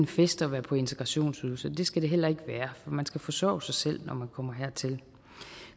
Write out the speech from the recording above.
fest at være på integrationsydelse og det skal det heller ikke være for man skal forsørge sig selv når man kommer hertil